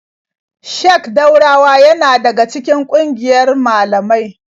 Sheik Daurawa yana daga cikin ƙungiyar malamai.